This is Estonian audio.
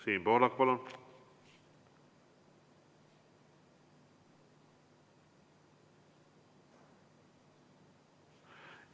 Siim Pohlak, palun!